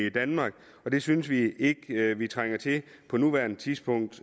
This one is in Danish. i danmark og det synes vi ikke vi trænger til på nuværende tidspunkt